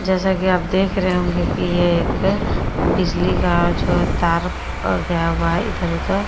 जैसा कि आप देख रहे होंगे कि ये एक बिजली का जो है तार गया हुआ है इधर उधर।